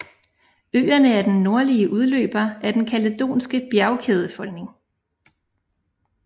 Øerne er den nordlige udløber af den kaledonske bjergkædefolding